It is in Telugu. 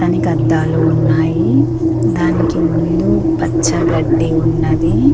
దానికి అద్దాలు ఉన్నాయి దానికి ముందు పచ్చ గడ్డి ఉన్నదీ--